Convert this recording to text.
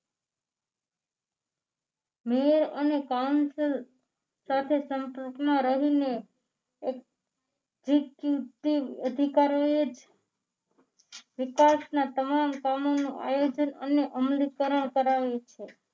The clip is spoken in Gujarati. મેયર અને counsel સાથે સંપર્કમાં રહીને executive અધિકારોએ વિકાસના તમામ કામોનું આયોજન અને અમલીકરણ કરાવે છે